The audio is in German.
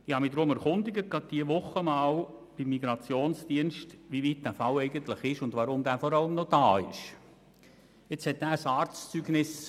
Deshalb habe ich mich diese Woche beim Migrationsdienst erkundigt, wie weit man in diesem Fall eigentlich ist und weshalb der Betreffende überhaupt noch in der Schweiz weilt.